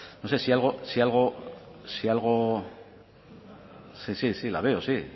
no sé si algo si algo sí sí si la veo sí